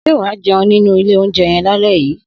Sé wàá jéun nínú ìlé ounjé yen làlé yí?